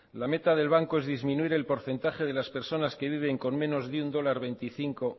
la meta del banco es disminuir el porcentaje de las personas que viven con menos de uno coma veinticinco